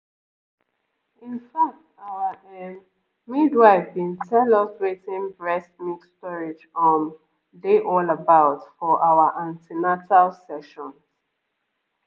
in fact our ehm midwife been tell us wetin breast milk storage um dey all about for our an ten atal sessions